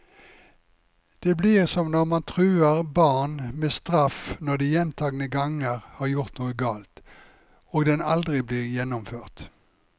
Det blir som når man truer barn med straff når de gjentagende ganger har gjort noe galt, og den aldri blir gjennomført.